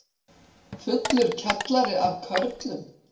Fullur kjallari af körlum